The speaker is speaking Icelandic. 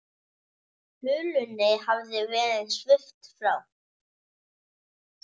Hulunni hafði verið svipt frá.